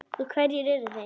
Og hverjir eru þeir?